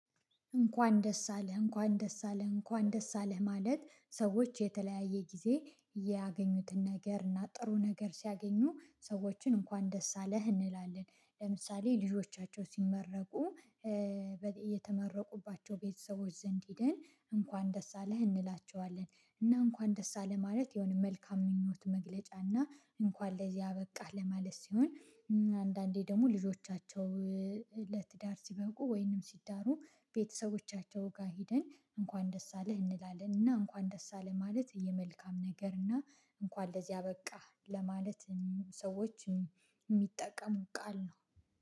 እንኳን ደስ አለህ እንኳን ደስ አለህ እንኳን ደስ አለህ ማለት ሰዎች የተለያየ ጊዜ ያገኙትን ነገር እና ጥሩ ነገር ሲያገኙ ሰዎችን እንኳን ደስ አለህ እንላለን ለምሳሌ ልጆቻቸው ሲመረቁ የተመረቁባቸው ቤተሰቦች ዘንድ ሂደን እንኳን ደስ አለህ እንላቸዋለን እና እንኳን ደስ አለህ ማለት የሆነ መልካም ምኞት መግለጫ እና እንኳን ለዚህ አበቃህ ለማለት ሲሆን። አንዳንዴ ደግሞ ልጆቻቸው ለትዳር ሲበቁ ወይንም ሲዳሩ ቤተሰቦቻቸው ጋር ሄደን እንኳን ደስ አለህ እንላለን እና እንኳን ደስ አለህ ማለት የመልካም ነገር እና እንኳን ለዚህ አበቃህ ለማለት ሰዎች የሚጠቀሙት ቃል ነው